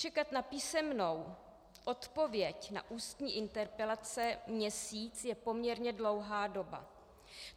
Čekat na písemnou odpověď na ústní interpelaci měsíc je poměrně dlouhá doba.